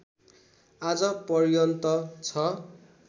आज पर्यन्त छ